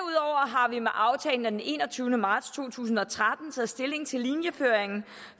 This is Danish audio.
har vi med aftalen af enogtyvende marts to tusind og tretten taget stilling til linjeføringen